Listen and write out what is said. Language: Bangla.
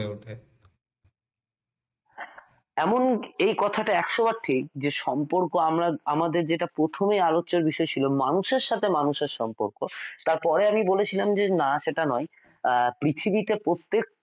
এমন এই কথাটা একশো বার ঠিক যে সম্পর্ক আমাদের প্রথমে আলোচ্য বিষয় ছিল সাথে মানুষের সম্পর্ক তারপর আমি বলেছিলাম যে না সেটা নয় আহ পৃথিবীতে প্রত্যেক